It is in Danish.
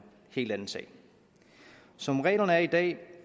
helt anden sag som reglerne er i dag